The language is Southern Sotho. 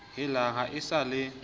helang ha e sa le